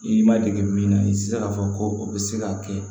I ma dege min na i tɛ se k'a fɔ ko o bɛ se k'a kɛ